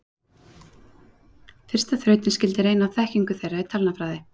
Fyrsta þrautin skyldi reyna á þekkingu þeirra í talnafræði.